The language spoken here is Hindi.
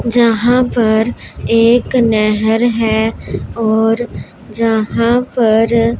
यहां पर एक नहर है और जहां पर--